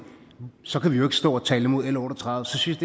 så kan vi jo ikke stå og tale imod l otte og tredive så synes